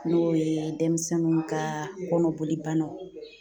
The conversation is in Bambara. N'o ye denmisɛnninw ka kɔnɔbolibanaw